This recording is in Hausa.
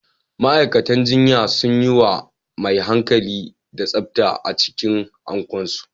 Ma'aikatan jinya sunyi mai hankali da tsafta a cikin Ankon su